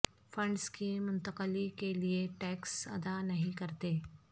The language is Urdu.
فنڈز کی منتقلی کے لئے ٹیکس ادا نہیں کرتے